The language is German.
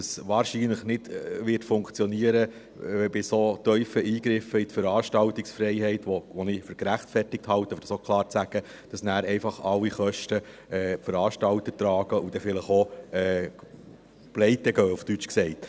Es wird bei so tiefen Eingriffen in die Veranstaltungsfreiheit, die ich für gerechtfertigt halte, um das auch klar zu sagen, wahrscheinlich nicht funktionieren, dass die Veranstalter alle Kosten tragen und dann vielleicht auch Pleite gehen, auf Deutsch gesagt.